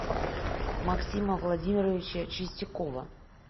максима владимировича чистякова